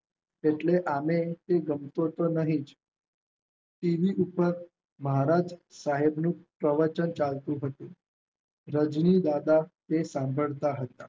એટલે તે આમેય ગમતો તો નહિ જ તેની ઉપર મહારાજ સાહેબનું પ્રવચન ચાલતું હતું. રાજની દાદા એ સાંભળતા હતા.